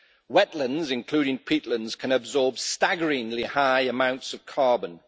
Wetlands, including peatlands, can absorb staggeringly high amounts of carbon.